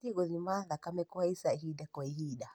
ũbatiĩ gũthima kũhaica thakame ihinda kwa ihinda